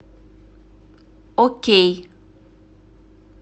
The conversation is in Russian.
окей